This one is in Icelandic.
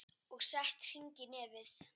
Og sett hring í nefið.